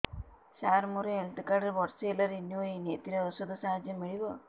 ସାର ମୋର health card ବର୍ଷେ ହେଲା ରିନିଓ ହେଇନି ଏଥିରେ ଔଷଧ ସାହାଯ୍ୟ ମିଳିବ